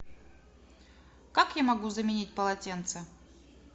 как я могу заменить полотенце